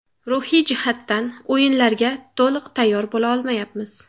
Ruhiy jihatdan o‘yinlarga to‘liq tayyor bo‘la olmayapmiz.